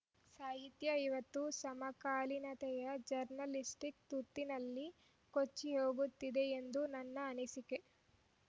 ಸಾಹಿತ್ಯ ಇವತ್ತು ಸಮಕಾಲೀನತೆಯ ಜರ್ನಲಿಸ್ಟಿಕ್‌ ತುರ್ತಿನಲ್ಲಿ ಕೊಚ್ಚಿ ಹೋಗುತ್ತಿದೆಯೆಂದು ನನ್ನ ಅನಿಸಿಕೆ